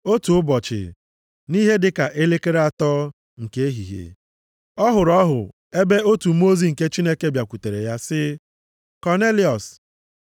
Otu ụbọchị, nʼihe dịka elekere atọ nke ehihie, ọ hụrụ ọhụ ebe otu mmụọ ozi nke Chineke bịakwutere ya sị ya, “Kọnelịọs!”